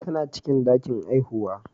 Tana cikin ɗakin haihuwa.